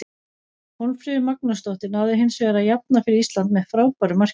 Hólmfríður Magnúsdóttir náði hinsvegar að jafna fyrir Ísland með frábæru marki.